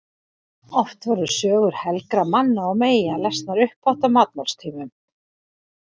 Oft voru sögur helgra manna og meyja lesnar upphátt á matmálstímum.